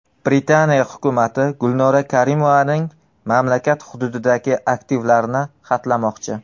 Britaniya hukumati Gulnora Karimovaning mamlakat hududidagi aktivlarini xatlamoqchi.